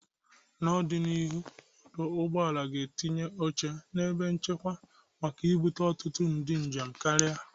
N'ọdịnihu, ọdụ ụgbọelu ga-etinyekwu oche n'ebe nchere makka ibute ọtụtụ ndị njem karịa.